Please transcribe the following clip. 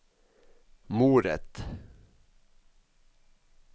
moret